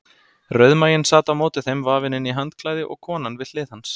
Rauðmaginn sat á móti þeim vafinn inn í handklæði og konan við hlið hans.